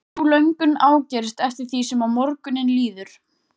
Sú löngun ágerist eftir því sem á morguninn líður.